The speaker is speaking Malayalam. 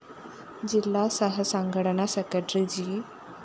ജില്ലാ സഹ സംഘടനാ സെക്രട്ടറി ജി